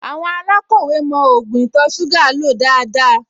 Àwọn alákọ̀wẹ́ mọ ògùn ìtọ̀-ṣúgà lò dáadáa